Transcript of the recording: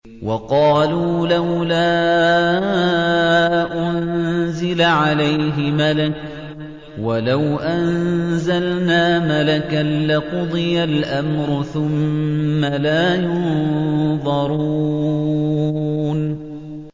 وَقَالُوا لَوْلَا أُنزِلَ عَلَيْهِ مَلَكٌ ۖ وَلَوْ أَنزَلْنَا مَلَكًا لَّقُضِيَ الْأَمْرُ ثُمَّ لَا يُنظَرُونَ